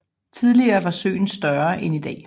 Tidligere var søen større end i dag